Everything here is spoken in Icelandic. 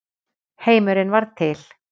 Heimurinn varð til.